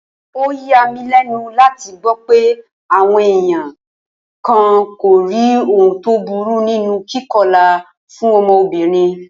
Ó yà mí lé̩nu láti gbó̩ pé àwo̩n èèyàn kan kò rí ohun tó burú nínú kíko̩là fún o̩mo̩bìnrin